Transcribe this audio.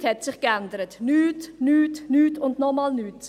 Nichts hat sich geändert, nichts, nichts, nichts und nochmals nichts!